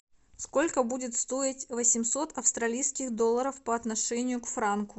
сколько будет стоить восемьсот австралийских долларов по отношению к франку